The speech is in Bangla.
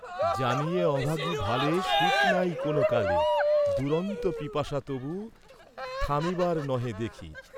জানি এ অভাগী ভালে সুখ নাই কোন কালে, দুরন্ত পিপাসা তবু থামিবার নহে দেখি।